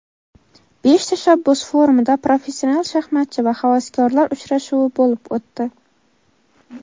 "Besh tashabbus forumi"da professional shaxmatchi va havaskorlar uchrashuvi bo‘lib o‘tdi.